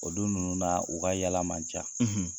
O don nunnu na, u ka yala man ca.